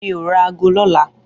Mi ó rà àgó lòlá